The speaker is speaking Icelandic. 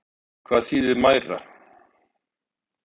En hvað þýðir mæra?